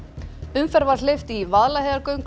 umferð var hleypt í Vaðlaheiðargöng